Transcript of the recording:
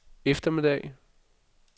eftermiddag